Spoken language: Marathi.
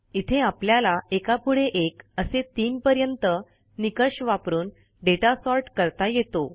इथे आपल्याला एकापुढे एक असे तीनपर्यंत निकष वापरून दाता सॉर्ट करता येतो